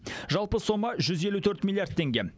жалпы сома жүз елу төрт миллиард теңге